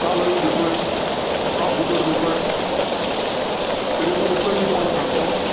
का Live घेतोय? का फुकट घेतोय? तर याचं उत्तर मी तुम्हाला सांगतो.